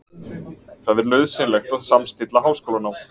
Það er nauðsynlegt að samstilla háskólanám